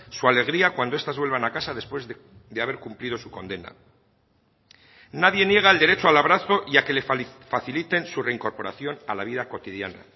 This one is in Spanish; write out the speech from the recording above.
su alegría cuando estas vuelvan a casa después de haber cumplido su condena nadie niega el derecho al abrazo y a que le faciliten su reincorporación a la vida cotidiana